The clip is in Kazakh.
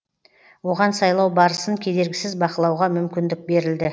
оған сайлау барысын кедергісіз бақылауға мүмкіндік берілді